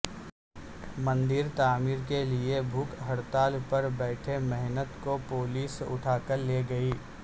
مندر تعمیر کیلئے بھوک ہڑتال پر بیٹھے مہنت کو پولیس اٹھاکر لے گئی